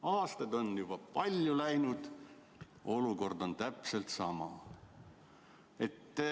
" Aastaid on juba palju läinud, aga olukord on täpselt sama.